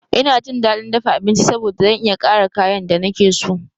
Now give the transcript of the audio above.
Ina jin daɗin dafa abinci saboda zan iya ƙara kayan da nake so.